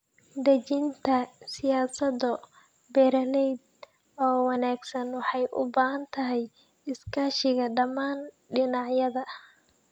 Dejinta siyaasado beeraleed oo wanaagsan waxay u baahan tahay iskaashiga dhammaan dhinacyada.